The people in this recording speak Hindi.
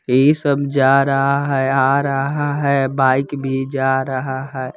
ये सब जा रहा है आ रहा है बाइक भी जा रहा है।